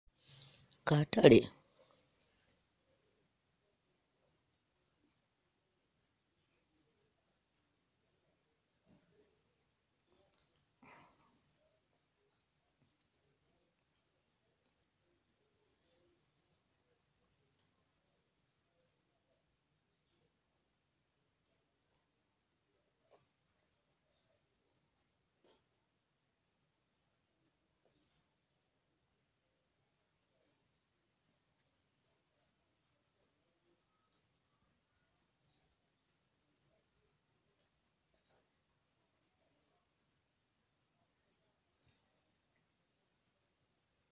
Kataale